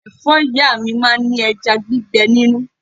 Ẹ̀fọ́ ìyá mi máa ń ní ẹja gbígbé nínú.